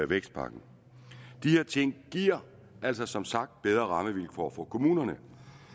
vækstpakken de her ting giver altså som sagt bedre rammevilkår for kommunerne